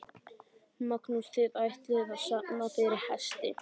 Magnús: Þið ætlið að safna fyrir hesti?